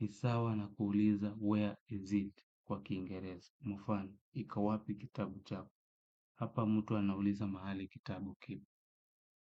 Ni sawa na kuuliza where is it kwa kiingerezi. Mfano, iko wapi kitabu changu? Hapa mtu anauliza mahali kitabu kipo.